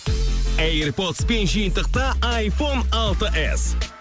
эйрподспен жиынтықта айфон алты эс